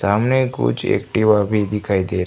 सामने कुछ एक्टिवा भी दिखाई दे रही--